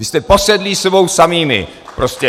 Vy jste posedlí sebou samými prostě.